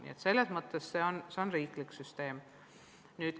Nii et selles mõttes see on riiklik süsteem.